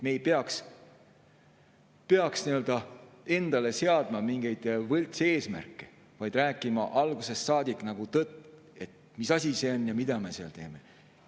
Me ei peaks endale seadma mingeid võltseesmärke, vaid peaksime rääkima algusest saadik tõtt, mis asi see on, mida me seal teeme.